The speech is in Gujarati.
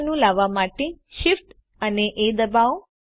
એડ મેનુ લાવવા માટે Shift એ ડબાઓ